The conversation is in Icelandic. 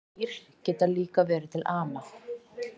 Dýr geta líka verið til ama